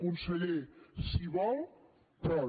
conseller si vol pot